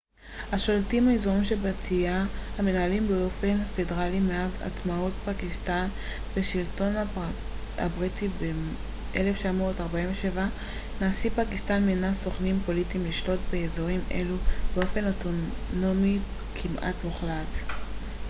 "מאז עצמאות פקיסטן מהשלטון הבריטי ב- 1947 נשיא פקיסטן מינה "סוכנים פוליטיים" לשלוט ב- fata אזורים שבטיים המנוהלים באופן פדרלי השולטים באזורים אלו באופן אוטונומי כמעט מוחלט.